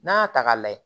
N'a y'a ta k'a layɛ